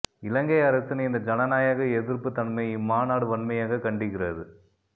இலங்கை அரசின் இந்த ஜனநாயக எதிர்ப்பு தன்மையை இம்மாநாடு வன்மையாக கண்டிக்கிறது